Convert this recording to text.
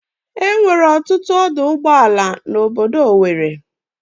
There are many motor parks in owerri.